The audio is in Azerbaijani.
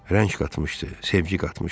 Rəng qatmışdı, sevgi qatmışdı.